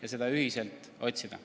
Andres Herkel, palun!